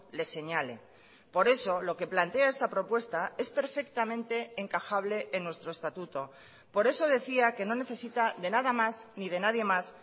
les señale por eso lo que plantea esta propuesta es perfectamente encajable en nuestro estatuto por eso decía que no necesita de nada más ni de nadie más